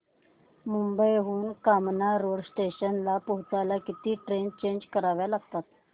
मुंबई हून कामन रोड स्टेशनला पोहचायला किती ट्रेन चेंज कराव्या लागतात